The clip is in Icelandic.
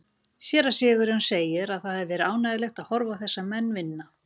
Séra Sigurjón segir að það hafi verið ánægjulegt að horfa á þessa menn vinna.